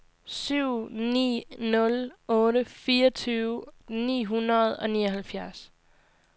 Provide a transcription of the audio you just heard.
syv ni nul otte fireogtyve ni hundrede og nioghalvfjerds